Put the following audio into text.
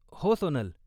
हो, सोनल.